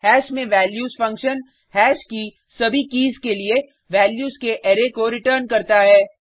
hash में values function hash की सभी कीज़ के लिए वैल्यूज़ के अरै को रिटर्न्स करता है